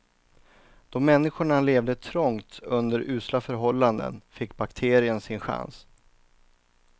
Då människorna levde trångt under usla förhållanden fick bakterien sin chans.